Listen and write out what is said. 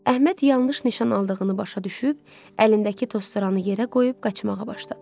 Əhməd yanlış nişan aldığını başa düşüb, əlindəki tozsoranı yerə qoyub qaçmağa başladı.